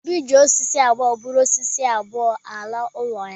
Obi ji osisi abụọ buru osisi abụọ a laa n’ụlọ ya